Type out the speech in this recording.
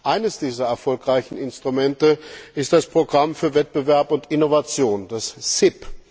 Eines dieser erfolgreichen Instrumente ist das Programm für Wettbewerbsfähigkeit und Innovation, das CIP.